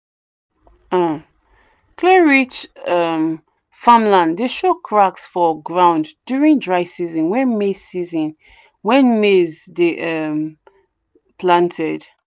um clay-rich um farmland dey show cracks for ground during dry season when maize season when maize dey um planted.